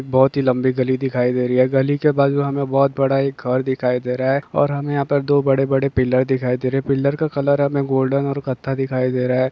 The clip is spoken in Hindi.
बहुत ही लम्बी गली दिखाई दे रही हैं। गली के बाजुओ मे बहुत बड़ा घर दिखाई दे रहा हैं। और हमें यहाँ पर बहुत बड़े बड़े पिलर दिखाई दे रहे हैं। पिलर का कलर गोल्डन और कथा दिखाई दे रहा हैं।